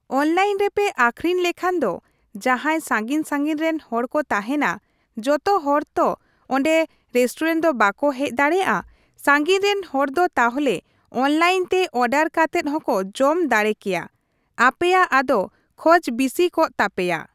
Online ᱨᱮ ᱯᱮ ᱟᱹᱠᱷᱨᱤᱧ ᱞᱮᱠᱷᱟᱱ ᱫᱚ ᱡᱟᱦᱟᱸᱭ ᱥᱟᱺᱜᱤᱧᱼᱥᱟᱺᱜᱤᱧ ᱨᱮᱱ ᱦᱚᱲ ᱠᱚ ᱛᱟᱦᱮᱱᱟ, ᱡᱚᱛᱚ ᱦᱚᱲ ᱛᱚ ᱚᱸᱰᱮ ᱨᱮᱥᱴᱩᱨᱮᱱᱴ ᱫᱚ ᱵᱟᱠᱚ ᱦᱮᱡ ᱫᱟᱲᱮᱭᱟᱜᱼᱟ, ᱥᱟᱺᱜᱤᱧ ᱨᱮᱱ ᱦᱚᱲ ᱫᱚ ᱛᱟᱦᱚᱞᱮ ᱚᱱᱞᱟᱭᱤᱱ ᱛᱮ ᱚᱨᱰᱟᱨ ᱠᱟᱛᱮᱫ ᱦᱚᱸᱠᱚ ᱡᱚᱢ ᱫᱟᱲᱮ ᱠᱮᱭᱟ ᱾ ᱟᱯᱮᱭᱟᱜ ᱟᱫᱚ ᱠᱷᱚᱡ ᱵᱤᱥᱤ ᱠᱚᱜ ᱛᱟᱯᱮᱭᱟ ᱾